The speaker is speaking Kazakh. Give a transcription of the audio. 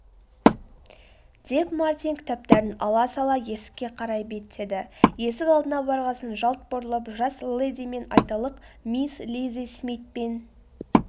деп мартин кітаптарын ала сала есікке қарай беттеді.есік алдына барғасын жалт бұрылып жас ледимен айталық мисс лиззи смитпен